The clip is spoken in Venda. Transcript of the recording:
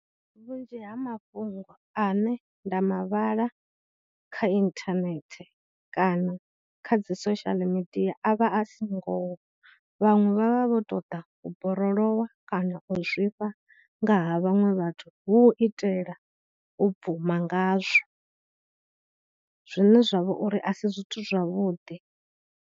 Vhunzhi ha mafhungo ane nda ma vhala kha internet kana kha dzi social media avha a si ngoho, vhaṅwe vha vha vho tou ḓa u borolowa kana u zwifha nga ha vhaṅwe vhathu hu u itela u bvuma ngazwo, zwine zwa vha uri a si zwithu zwavhuḓi.